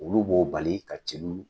Olu b'o bali ka celu